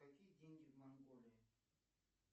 какие деньги в монголии